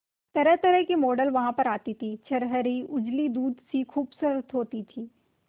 तरहतरह की मॉडल वहां पर आती थी छरहरी उजली दूध सी खूबसूरत होती थी